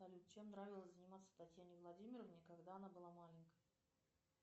чем нравилось заниматься татьяне владимировне когда она была маленькой